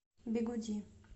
бигуди